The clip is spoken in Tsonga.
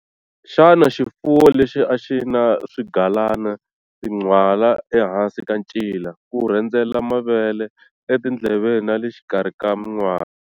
Xana xifuwo lexi a xi na swigalana, tinhwala ehansi ka ncila, ku rhendzela mavele, etindleveni na le xikarhi ka minwala?